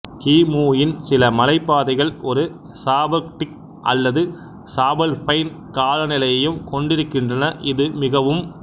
கி மு யின் சில மலைப்பாதைகள் ஒரு சபார்க்டிக் அல்லது சபால்பைன் காலநிலையையும் கொண்டிருக்கின்றன இது மிகவும்